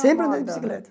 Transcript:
Sempre andei de bicicleta.